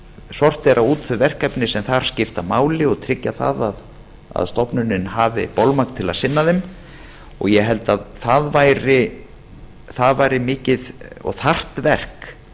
sortera út þau verkefni sem þar skipta máli og tryggja að stofnunin haf bolmagn til að sinna þeim ég held að það væri mikið og þarft verk